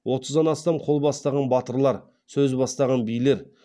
отыздан астам қол бастаған батырлар сөз бастаған билер